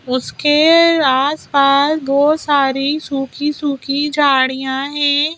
उसके आसपास बहोत सारी सुखी-सुखी झाड़ियां है।